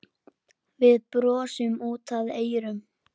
Við brosum út að eyrum.